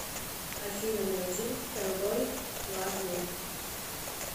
афина найди кэлбой лав ми